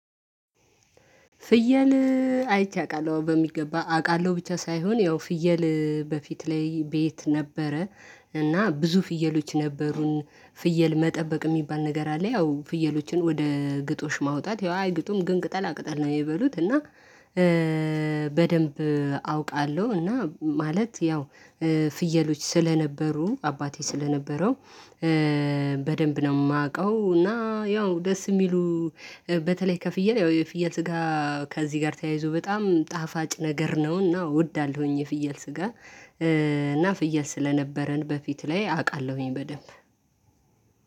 ፍየል አይቼ አውቃለሁ በሚገባ አውቃለሁ ብቻ ሳይሆን ያው ፍየል በፊት ላይ ቤት ነበረ። እና ብዙ ፍየሎች ነበሩን። ፍየል መጠበቅ የሚባል ነገር አለ ያው ፍየሎችን ወደ ግጦሽ ማውጣት ያው አይግጡም ግን ቅጠላ ቅጠል ነው የሚበሉት እና በደንብ አውቃለሁ። እና ማለት ያው ፍየሎች ስለነበሩ አባቴ ስለነበረው በደንብ ነው የማውቀው። እና ያው ደስ የሚሉ በተለይ ከፍየል ያው የፍየል ስጋ ከዚህ ጋር ተያይዞ በጣም ጣፋጭ ነገር ነውና እወዳለሁኝ። የፍየል ስጋ እና ፍየል ስለነበረን በፊት ላይ አውቃለሁኝ በደንብ።